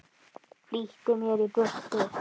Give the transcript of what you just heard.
Flýtti mér í burtu.